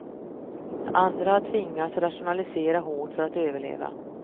Andra har tvingats rationalisera hårt för att överleva.